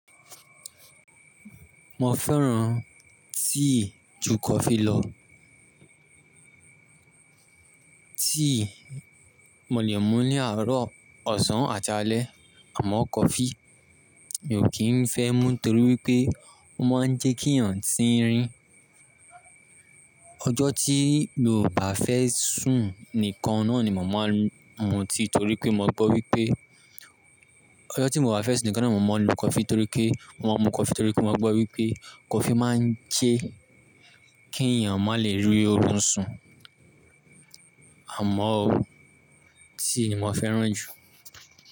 Mo fẹ́ràn tíì ju kọfí lọ. Tíì mo lè mú ní àárọ̀, ọ̀sán àti alẹ́ àmọ́ coffee mi ò kí n fẹ́ mú torí wípé ó máa ń jẹ́ kí èèyàn tìń rin. Ọjọ́ tí mio bá fẹ́ sùn nìkan náà ni mo màá mú tíì torí pé mo gbọ́ wípé Ọjọ́ tí mo bá fẹ́ sùn nìkan náà mo máa ń lo coffee torí pé mo máa ń mú coffee torí pé mo gbọ́ wípé coffee máa ń jẹ́ kí èèyàn má lè rí orun sùn àmọ́ o tíì ni mo fẹ́ràn jù.